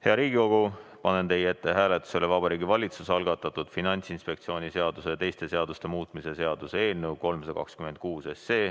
Hea Riigikogu, panen teie ette hääletusele Vabariigi Valitsuse algatatud Finantsinspektsiooni seaduse ja teiste seaduste muutmise seaduse eelnõu 326.